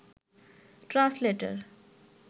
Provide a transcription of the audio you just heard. translator